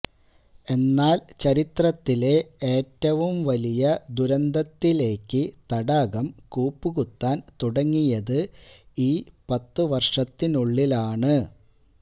എന്നാല് ചരിത്രത്തിലെ ഏറ്റവും വലിയ ദുരന്തത്തിലേക്ക് തടാകം കൂപ്പുകുത്താന് തുടങ്ങിയത് ഈ പത്തുവര്ഷത്തിനുള്ളിലാണ്